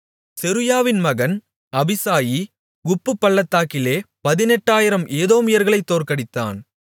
செருயாவின் மகன் அபிசாயி உப்புப்பள்ளத்தாக்கிலே பதினெட்டாயிரம் ஏதோமியர்களைத் தோற்கடித்தான்